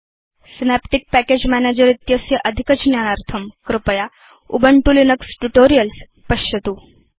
Synaptic package manager इत्यस्य अधिकज्ञानार्थम् कृपया उबुन्तु लिनक्स ट्यूटोरियल्स् पश्यतु